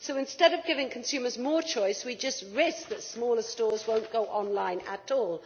So instead of giving consumers more choice we just risk that smaller stores will not go online at all.